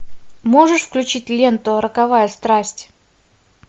можешь включить ленту роковая страсть